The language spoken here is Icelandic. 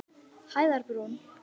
Hæðarbrún